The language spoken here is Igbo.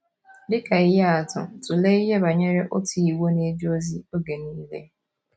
Dị ka ihe atụ, tụlee ihe banyere otu Igbo na - eje ozi oge nile.